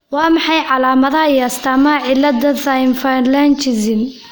Waa maxay calaamadaha iyo astaamaha cilada Thai symphalangism ?